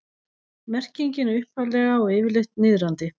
merkingin er upphaflega og yfirleitt niðrandi